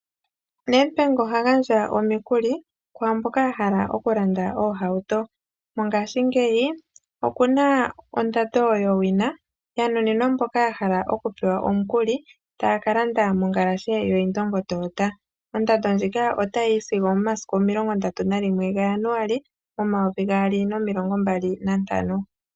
Nedbank oha gandja omikuli kwaamboka yahala okulanda iihawuto mongashingeyi okuna ondando yowina yanuninwa mboka yahala omikuli taakalanda mongalashe yo Indongo Toyota ondando nðjoka otayiyi sigo omomasiku 31 January 2025.